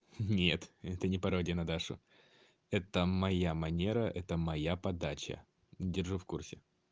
нет это не пародия на дашу это моя манера это моя подача держу в курсе